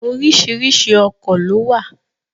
Oríṣiríṣi ọkọ̀ ló wà.